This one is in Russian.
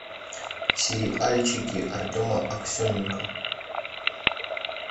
сериальчики артема аксененко